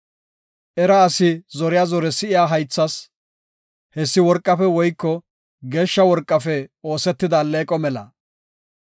Era asi zoriya zore si7iya haythas, hessi worqafe woyko geeshsha worqafe oosetida alleeqo mela.